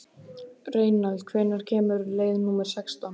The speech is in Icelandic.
Reynald, hvenær kemur leið númer sextán?